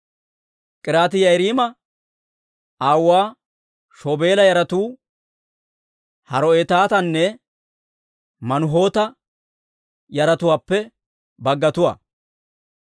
K'iriyaati-Yi'aariima aawuwaa Shobaala yaratuu Haro'eetatanne Manuhoota yaratuwaappe baggatuwaa.